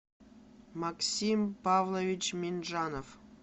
максим павлович минджанов